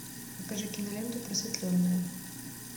покажи киноленту просветленная